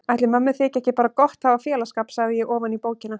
Ætli mömmu þyki ekki bara gott að hafa félagsskap, sagði ég ofan í bókina.